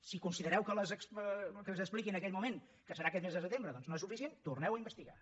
si considereu que el que s’expliqui en aquell moment que serà aquest mes de setembre doncs no és suficient torneu ho a investigar